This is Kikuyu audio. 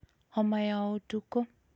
homa ya ũtukũ,